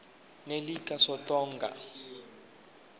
nelikasontonga